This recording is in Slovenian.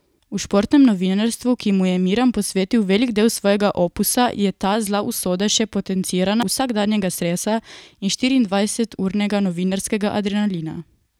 V športnem novinarstvu, ki mu je Miran posvetil velik del svojega opusa, je ta zla usoda še potencirana zavoljo vsakdanjega stresa in štiriindvajseturnega novinarskega adrenalina.